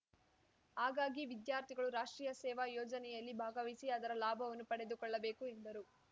ಹಾಗಾಗಿ ವಿದ್ಯಾರ್ಥಿಗಳು ರಾಷ್ಟ್ರೀಯ ಸೇವಾ ಯೋಜನೆಯಲ್ಲಿ ಭಾಗವಹಿಸಿ ಅದರ ಲಾಭವನ್ನು ಪಡೆದುಕೊಳ್ಳಬೇಕು ಎಂದರು